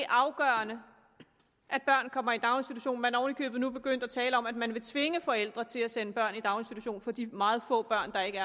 afgørende at børn kommer i daginstitution man er oven i købet nu begyndt at tale om at man vil tvinge forældre til at sende børn i daginstitution så de meget få børn der ikke